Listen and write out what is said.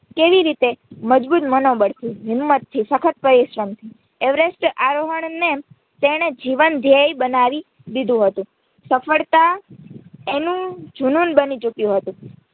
કેવી રીતે મજબૂત મનોબળથી હિંમતથી સખત પરીરશ્રમથી એવરેસ્ટ આરોહણને તેણે જીવન ધેયય બનવી દીધો હતું સફળતા એનું જૂનૂન બની ચૂક્યું હતું.